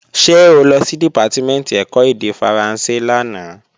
Ṣé o lọ sí Dìpátímẹ̀ntì ẹ̀kọ́ èdè Faransé lánàá?